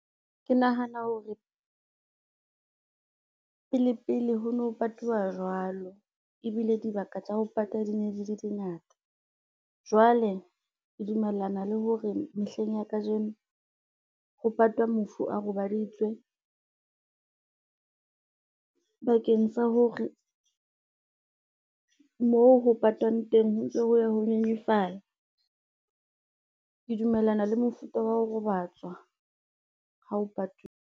Ke nahana hore, pele pele ho no patuwa jwalo, ebile dibaka tsa ho pata di ne di le ngata. Jwale ke dumellana le hore mehleng ya kajeno, ho patwa mofu a robaditswe, bakeng sa hore, moo ho patwang teng ho ntso ho ya ho nyenyefala. Ke dumellana le mofuta wa ho robatswa ha o patuwe.